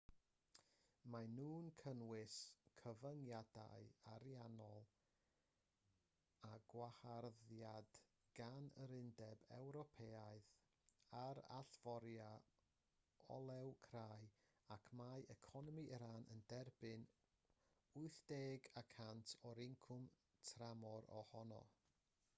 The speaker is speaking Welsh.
maen nhw'n cynnwys cyfyngiadau ariannol a gwaharddiad gan yr undeb ewropeaidd ar allforio olew crai y mae economi iran yn derbyn 80% o'i incwm tramor ohono